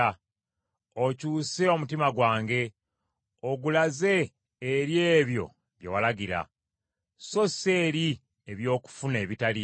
Okyuse omutima gwange ogulaze eri ebyo bye walagira; so si eri eby’okufuna ebitaliimu.